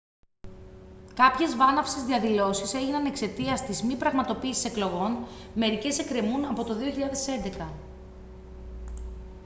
κάποιες βάναυσες διαδηλώσεις έγιναν εξαιτίας της μη πραγματοποίησης εκλογών μερικές εκκρεμούν από το 2011